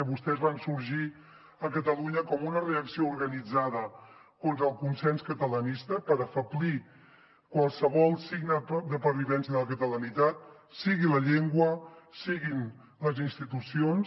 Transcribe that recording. vostès van sorgir a catalunya com una reacció organitzada contra el consens catalanista per afeblir qualsevol signe de pervivència de la catalanitat sigui la llengua siguin les institucions